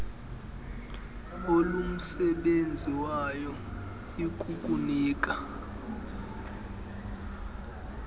olumsebenzi wayo ikukunika